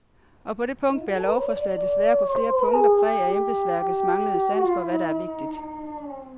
Og på det punkt bærer lovforslaget desværre på flere punkter præg af embedsværkets manglende sans for, hvad der er vigtigt.